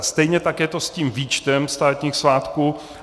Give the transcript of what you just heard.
A stejně tak je to s tím výčtem státních svátků.